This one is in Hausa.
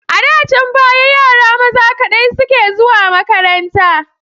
A dcan baya yara maza kaɗai suke zuwa makaranta.